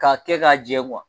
K'a kɛ k'a jɛ